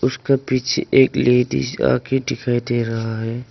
उसके पीछे एक लेडिस आ के दिखाई दे रहा है।